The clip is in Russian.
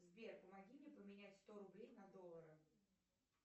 сбер помоги мне поменять сто рублей на доллары